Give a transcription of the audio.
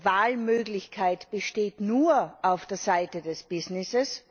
Die Wahlmöglichkeit besteht nur auf der Seite des Business.